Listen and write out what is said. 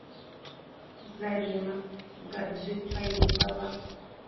зарима гаджикаибова